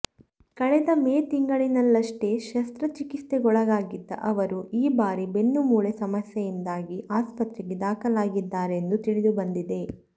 ಕಳೆದ ಮೇ ತಿಂಗಳಿನಲ್ಲಷ್ಟೇ ಶಸ್ತ್ರ ಚಿಕಿತ್ಸೆಗೊಳಗಾಗಿದ್ದ ಅವರು ಈ ಬಾರಿ ಬೆನ್ನು ಮೂಳೆ ಸಮಸ್ಯೆಯಿಂದಾಗಿ ಆಸ್ಪತ್ರೆಗೆ ದಾಖಲಾಗಿದ್ದಾರೆಂದು ತಿಳಿದುಬಂದಿದೆ